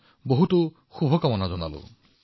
মই আপোনালোকক শুভকামনা জনাইছো